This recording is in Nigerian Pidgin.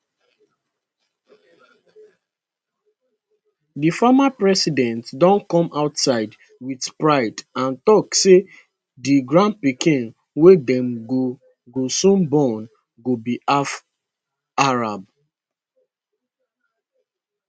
di former president don come outside wit pride and tok say di grandpikin wey dem go go soon born go be half arab